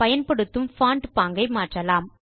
பயன்படுத்தும் பான்ட் பாங்கை மாற்றலாம்